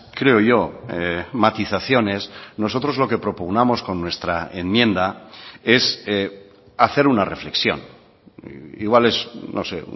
creo yo matizaciones nosotros lo que propugnamos con nuestra enmienda es hacer una reflexión igual es no sé